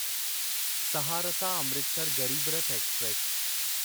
Saharsa Amritsar Garib Rath express